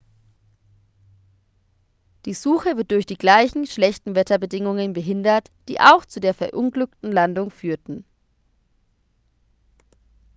die suche wird durch die gleichen schlechten wetterbedingungen behindert die auch zur der verunglückten landung führten